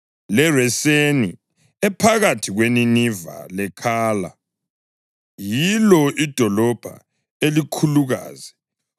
leReseni ephakathi kweNiniva leKhala; yilo idolobho elikhulukazi.